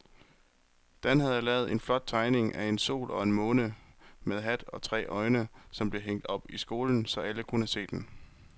Dan havde lavet en flot tegning af en sol og en måne med hat og tre øjne, som blev hængt op i skolen, så alle kunne se den.